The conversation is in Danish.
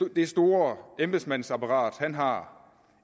det store embedsmandsapparat han har